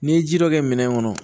N'i ye ji dɔ kɛ minɛn kɔnɔ